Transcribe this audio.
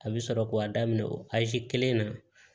A bɛ sɔrɔ k'a daminɛ o aze kelen na